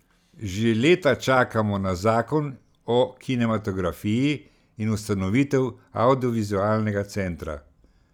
Že leta čakamo na zakon o kinematografiji in ustanovitev avdiovizualnega centra.